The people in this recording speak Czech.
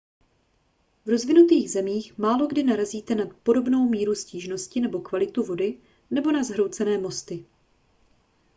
v rozvinutých zemích málokdy narazíte na podobnou míru stížnosti na kvalitu vody nebo na zhroucené mosty